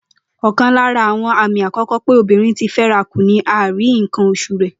Ò̩kan lára àwo̩n àmì àkó̩kó̩ pé obìnrin ti fé̩rakù ni àìrí nǹkan os̩ù rè̩